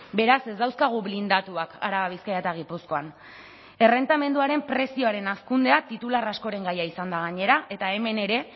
beraz ez dauzkagu blindatuak araba bizkaia eta gipuzkoan errentamenduaren prezioaren hazkundea titular askoren gaia izan da gainera eta hemen ere